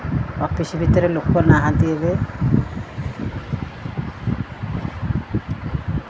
office ଭିତରରେ ଲୋକ ନାହାନ୍ତି ଏବେ --